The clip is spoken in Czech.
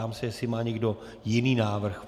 Ptám se, jestli má někdo jiný návrh.